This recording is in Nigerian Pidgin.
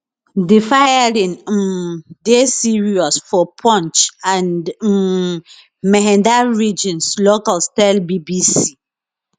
di firing um dey serious for poonch and um mehandar regions locals tell bbc